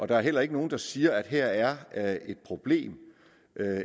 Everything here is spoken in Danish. der er heller ikke nogen der siger at her er er et problem